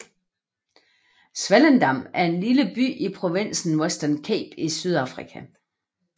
Swellendam er en lille by i provinsen Western Cape i Sydafrika